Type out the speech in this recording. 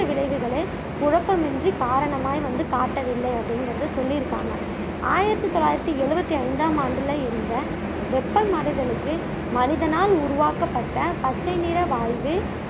விளைவுகளை குழப்பமின்றி காரணமாய் வந்து காட்டவில்லை அப்படிங்குறதிய சொல்லியிருக்காங்க ஆயிரத்தி தொள்ளாயிரத்தி எழுவத்தி ஐந்தாம் ஆண்டுல இருந்த வெப்பமடைதலுக்கு மனிதனால் உருவாக்கப்பட்ட பச்சை நிற வாய்வு